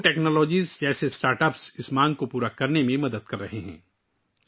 جوگو technologies جیسے startup اس مانگ کو پورا کرنے میں مدد کر رہے ہیں